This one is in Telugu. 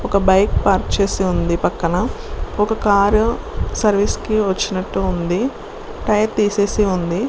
ఒక బైక్ పార్క్ చేసి ఉంది. పక్కన ఒక కార్ సర్విస్ కి వచ్చి నట్టు ఉంది. టైర్ తీసెసీ ఉంది.